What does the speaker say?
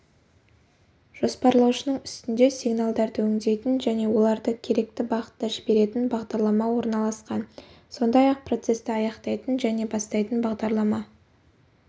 жоспарлаушының үстінде сигналдарды өндейтін және оларды керекті бағытта жіберетін бағдарлама орналасқан сондай-ақ процесті аяқтайтын және бастайтын бағдарлама